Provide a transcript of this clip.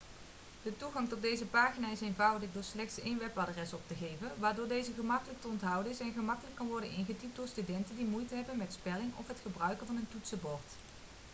de toegang tot deze pagina is eenvoudig door slechts één webadres op te geven waardoor deze gemakkelijk te onthouden is en gemakkelijk kan worden ingetypt door studenten die moeite hebben met spelling of het gebruiken van een toetsenbord